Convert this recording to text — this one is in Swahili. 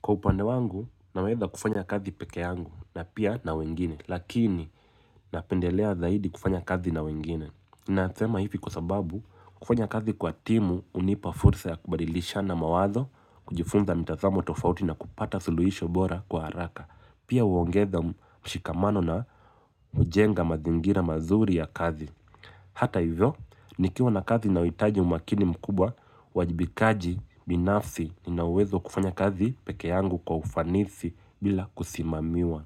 Kwa upande wangu, naweza kufanya kazi peke yangu na pia na wengine, lakini napendelea zaidi kufanya kazi na wengine. Na sema hivi kwa sababu, kufanya kazi kwa timu hunipa fursa ya kubalilishana mawazo, kujifunza mitazamo tofauti na kupata suluhisho bora kwa haraka. Pia huongeza mshikamano na hujenga mazingira mazuri ya kazi. Hata hivyo, nikiwa na kazi nauhitaji umakini mkubwa, uwajibikaji, binafsi ninauwezo wa kufanya kazi peke yangu kwa ufanisi bila kusimamiwa.